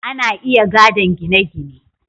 ana iya gadon gine gine